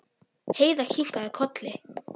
Heiða kinkaði kolli.